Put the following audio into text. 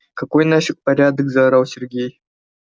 какой нафик порядок заорал сергей